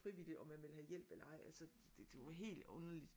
Frivilligt om man ville have hjælp eller ej altså det det var helt underligt